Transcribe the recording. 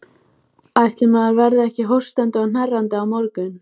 Myrkrið var algjört og augun ennþá vön ljósinu.